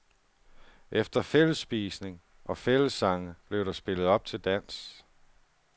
Efter fællesspisning og fællessange blev der spillet op til dans.